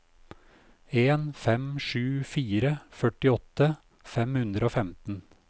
en fem sju fire førtiåtte fem hundre og femten